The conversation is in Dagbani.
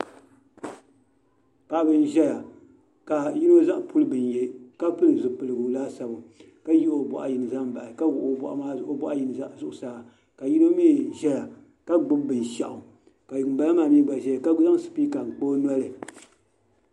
Paɣa ba n ʒɛya ka yino zaŋ puli bini yɛ ka pili zipiligu laasabu ka yihi o boɣa yini zaŋ bahi ka wuɣi o boɣu zuɣusaa ka yino mii ʒɛya ka gbubi binshaɣu ka ŋunbala maa mii gba ʒɛya ka zaŋ spiika n kpa o noli